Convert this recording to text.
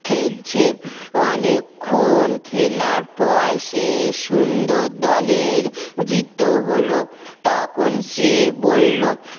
খেলছে অনেকক্ষণ খেলার পর শেষ সুন্দর দলের জীত হল তখন সে বলল